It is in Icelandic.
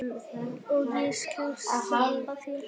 Og ég skal sleppa þér!